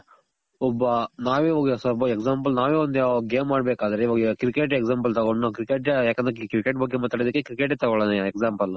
ಒಬ್ಬ ನಾವೇ ಇವಾಗ so far example ನಾವೇ ಒಂದು game ಆಡಬೇಕಾದ್ರೆ ಇವಾಗ cricket example ತಗೊಂಡ್ ನಾವ್ cricket ಯಾಕಂದ್ರೆ cricket ಬಗ್ಗೆ ಮಾತಾಡೋದಕ್ಕೆ cricket ತಗೊಳಣ example